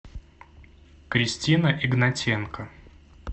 кристина игнатенко